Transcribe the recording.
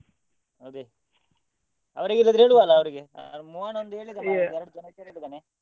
ಅದೇ ಅವ್ರಿಗೆ ಇಲ್ಲಾದ್ರೆ ಹೇಳುದಲ್ಲ ಅವ್ರಿಗೆ ಮೋಹನ್ ಒಂದು ಹೇಳಿದ ಮಾರ್ರೆ ಕೇಳಿದ್ದಾನೆ.